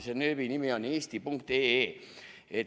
Selle nööbi nimi on eesti.ee.